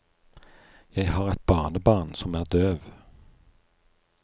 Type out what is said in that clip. Jeg har et barnebarn som er døv.